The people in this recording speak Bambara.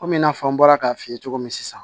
Komi i n'a fɔ an bɔra k'a f'i ye cogo min sisan